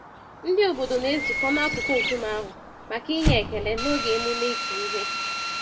Ndị obodo na-ezukọ n'akụkụ nkume ahụ, maka inye ekele, n'oge emume ịkụ ihe.